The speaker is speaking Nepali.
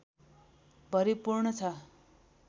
भरिपूर्ण छ